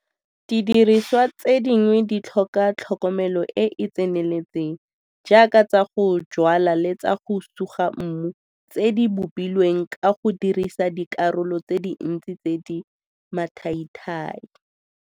Didiriswa tse dingwe di tlhoka tlhokomelo e e tseneletseng jaaka tsa go jwala le tsa go suga mmu tse di bopilweng ka go dirisa dikgaolo tse dintsi tse di mathaithai.